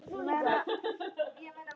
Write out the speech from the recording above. Segðu okkur nú frá verk